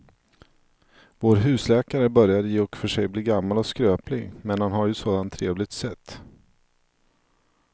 Vår husläkare börjar i och för sig bli gammal och skröplig, men han har ju ett sådant trevligt sätt!